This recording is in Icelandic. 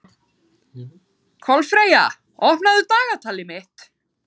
Kolfreyja, opnaðu dagatalið mitt.